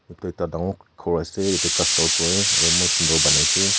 etu dangor khor ase etu koi aru eman sundor banai shey.